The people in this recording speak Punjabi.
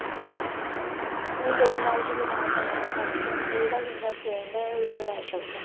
ਨਹੀ ਦੋ ਨਾਲ ਵੀ ਲਗਾ ਸਕਦੇ ਹਾਂ ਪਾਈਪਿੰਨ ਜਿਹੜਾ ਬੰਦਾ trained ਹੈ ਉਹੀ ਲਗਾ ਸਕਦਾ